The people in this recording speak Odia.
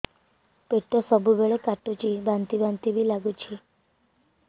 ପେଟ ସବୁବେଳେ କାଟୁଚି ବାନ୍ତି ବାନ୍ତି ବି ଲାଗୁଛି